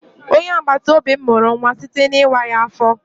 Onye agbataobi m mụrụ nwa site n'ịwa ya afọ.